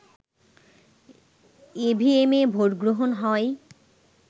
ইভিএমে ভোটগ্রহণ হয়